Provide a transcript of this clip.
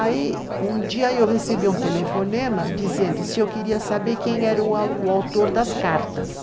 Aí um dia eu recebi um telefonema dizendo se eu queria saber quem era o autor das cartas.